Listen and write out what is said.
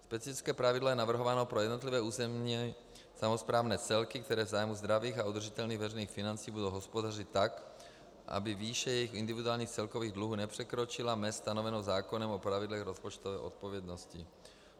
Specifické pravidlo je navrhováno pro jednotlivé územní samosprávné celky, které v zájmu zdravých a udržitelných veřejných financí budou hospodařit tak, aby výše jejich individuálních celkových dluhů nepřekročila mez stanovenou zákonem o pravidlech rozpočtové odpovědnosti.